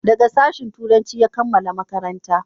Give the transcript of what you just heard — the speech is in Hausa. daga sashin turanci ya kammala makaranta